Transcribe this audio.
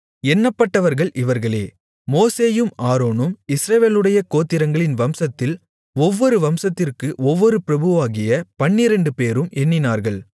எண்ணப்பட்டவர்கள் இவர்களே மோசேயும் ஆரோனும் இஸ்ரவேலுடைய கோத்திரங்களின் வம்சத்தில் ஒவ்வொரு வம்சத்திற்கு ஒவ்வொரு பிரபுவாகிய பன்னிரண்டுபேரும் எண்ணினார்கள்